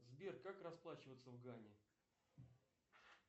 сбер как расплачиваться в гане